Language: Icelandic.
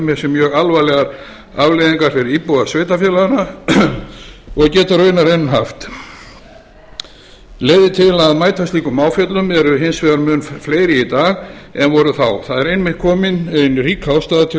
með sér mjög alvarlegar afleiðingar fyrir íbúa sveitarfélaganna og getur raunar enn haft leiðir til að mæta slíkum áföllum eru hins vegar mun fleiri í dag en voru þá það er einmitt komin ein rík ástæða til